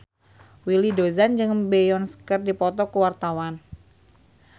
Willy Dozan jeung Beyonce keur dipoto ku wartawan